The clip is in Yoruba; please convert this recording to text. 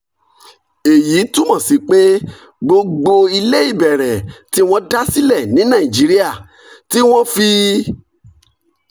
èyí túmọ̀ sí pé gbogbo ilé ìbẹ̀rẹ̀ tí wọ́n dá sílẹ̀ ní nàìjíríà (tí wọ́n fi